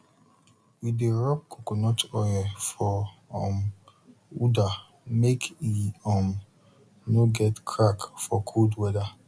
we dey rub coconut oil for um udder make e um nor get crack for cold weather